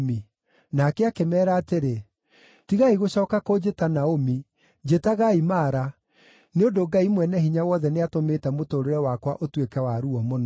Nake akĩmeera atĩrĩ, “Tigai gũcooka kũnjĩta Naomi, njĩtagaai Mara, nĩ ũndũ Ngai Mwene-Hinya-Wothe nĩatũmĩte mũtũũrĩre wakwa ũtuĩke wa ruo mũno.